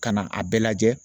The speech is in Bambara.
Ka na a bɛɛ lajɛ